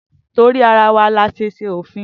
Torí ara wa ní ase ṣe òfin